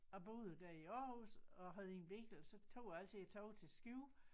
Jeg boede der i Aarhus og havde ingen bil så tog jeg altid æ tog til Skive